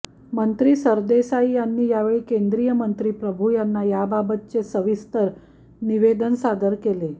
मंत्री सरदेसाई यांनी यावेळी केंद्रीय मंत्री प्रभू यांना याबाबतचे सविस्तर निवेदन सादर केले